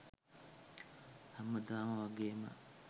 හැමදාම වගේම